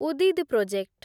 ଉଦିଦ୍ project